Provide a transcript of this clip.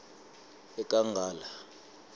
ekangala